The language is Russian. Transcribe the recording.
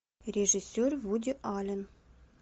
режиссер вуди аллен